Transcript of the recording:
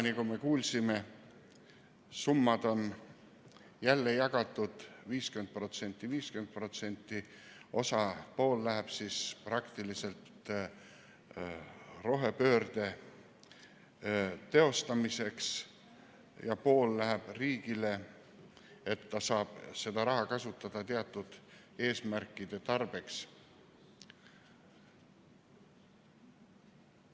Täna me kuulsime, et summad on jälle jagatud 50% : 50%, pool läheb praktiliselt rohepöörde teostamiseks ja pool läheb riigile, et ta saab seda raha kasutada teatud eesmärkide tarbeks.